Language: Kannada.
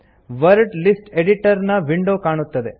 ವರ್ಡ್ ಲಿಸ್ಟ್ ಎಡಿಟರ್ ನ ವಿಂಡೋ ಕಾಣುತ್ತದೆ